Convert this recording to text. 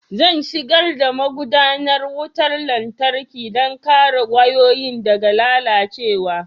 Zan shigar da magudanar wutar lantarki don kare wayoyi daga lalacewa